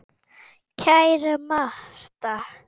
Ekkert vesen eða óþarfa stress.